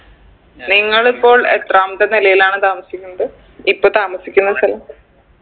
നിങ്ങളിപ്പോൾ എത്രാമത്തെ നിലയിലാണ് താമസിക്കുന്നത് ഇപ്പൊ താമസിക്കുന്ന സ്ഥലം